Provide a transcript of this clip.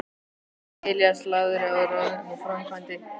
Elías lagði á ráðin og sá um framkvæmdir.